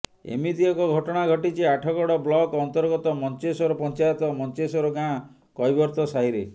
ଏମିତି ଏକ ଘଟଣା ଘଟିଛି ଆଠଗଡ ବ୍ଲକ ଅନ୍ତର୍ଗତ ମଞ୍ଚେଶ୍ବର ପଂଚାୟତ ମଞ୍ଚେଶ୍ୱର ଗାଁ କୈବର୍ତ୍ତ ସାହିରେ